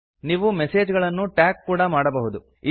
ನೀವು ಮೆಸೇಜ್ ಗಳನ್ನು ಟ್ಯಾಗ್ ಕೂಡ ಮಾಡಬಹುದು